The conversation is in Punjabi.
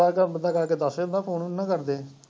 by chance ਬੰਦਾ ਜਾ ਕੇ ਦੱਸ ਦਿੰਦਾ phone ਵੀ ਨੀ ਨਾ ਕਰਦੇ।